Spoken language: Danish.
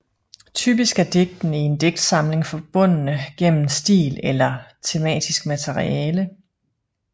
Typisk er digtene i en digtsamling forbundne gennem stil eller tematisk materiale